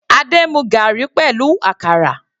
Adé mu garri pẹ̀lú àkàrà.